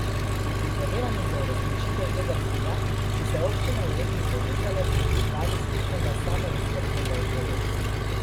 V prizadevanjih za uresničitev tega cilja so se občine v regiji povezale pri pripravi skupnega samooskrbnega projekta.